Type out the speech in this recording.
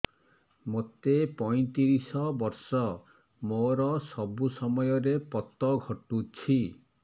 ମୋତେ ପଇଂତିରିଶ ବର୍ଷ ମୋର ସବୁ ସମୟରେ ପତ ଘଟୁଛି